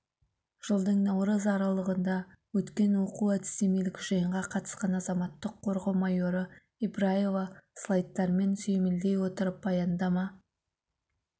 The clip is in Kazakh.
жылдың наурыз аралығында өткен оқу-әдістемелік жиынға қатысқан азаматтық қорғау майоры ибраева слайдтармен сүйемелдей отырып баяндама